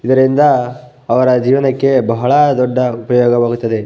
ಇದರಿಂದ ಅವರ ಜೀವನಕ್ಕೆ ಬಹಳ ದೊಡ್ಡ ಉಪಯೋಗವಾಗುತ್ತದೆ.